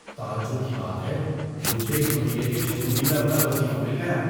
تعجب کی بات ہے! مجھے اس مہینے کے شروع ہی میں اپنا وظیفہ مل گیا!